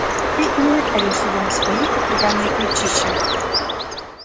ты и не напялишь его на свои окаянные плечища